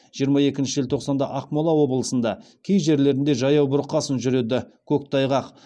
жиырма екінші желтоқсанда ақмола облысында кей жерлерінде жаяу бұрқасын жүреді көктайғақ